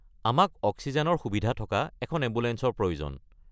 আমাক অক্সিজেনৰ সুবিধা থকা এখন এম্বুলেঞ্চৰ প্ৰয়োজন।